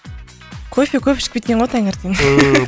кофе көп ішіп кеткен ғой таңертең